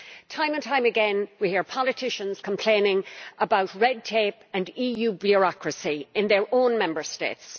Time and time again, we hear politicians complaining about red tape and EU bureaucracy in their own Member States.